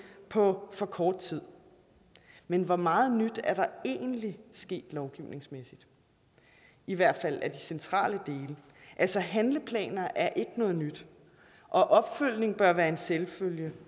på for kort tid men hvor meget nyt er der egentlig sket lovgivningsmæssigt i hvert fald af de centrale dele altså handleplaner er ikke noget nyt og opfølgning bør være en selvfølge